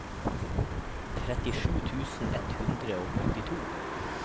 trettisju tusen ett hundre og åttito